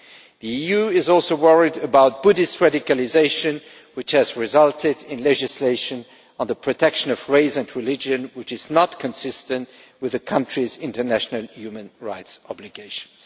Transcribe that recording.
The EU is also worried about Buddhist radicalisation, which has resulted in legislation on the protection of race and religion that is not consistent with the country's international human rights obligations.